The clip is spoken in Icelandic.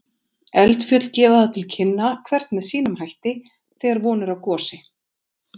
Eldfjöll gefa það til kynna, hvert með sínum hætti, þegar von er á gosi.